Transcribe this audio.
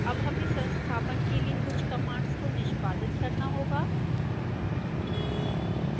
अब हमें संस्थापन के लिए कुछ कमांड्स को निष्पादित करना होगा